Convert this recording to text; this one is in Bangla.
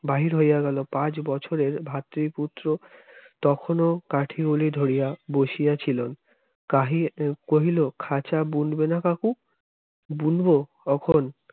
বাহির হইয়া গেল পাঁচ বছরের ভাতৃপুত্র তখনও কাঠিগুলি ধরিয়া বসিয়া ছিলেন কহিল খাঁচা বুনবে না কাকু বুনবো কখন